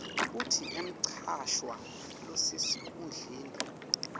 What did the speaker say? kutsi umcashwa losesikhundleni